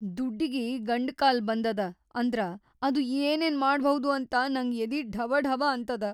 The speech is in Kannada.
ದುಡ್ಡಿಗಿ ಗಂಡಕಾಲ್ ಬಂದದ ಅಂದ್ರ ಅದು ಏನೇನ್‌ ಮಾಡಭೌದು ಅಂತ ನಂಗ್ ಎದಿ ಢವಢವ ಅಂತದ.